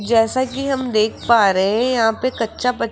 जैसा कि हम देख पा रहे हैं यहां पे कच्चा ब--